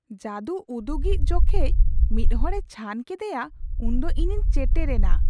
ᱡᱟᱫᱩ ᱩᱫᱩᱜᱤᱡ ᱡᱚᱠᱷᱮᱡ ᱢᱤᱫ ᱦᱚᱲᱮ ᱪᱷᱟᱱ ᱠᱮᱫᱮᱭᱟ ᱩᱱ ᱫᱚ ᱤᱧᱤᱧ ᱪᱮᱴᱮᱨ ᱮᱱᱟ ᱾